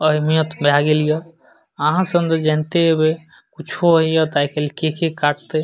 अहमियत भाए गेल ये आहां सब ते जानते हेबे कुछो हेय आय कल ते केके काटते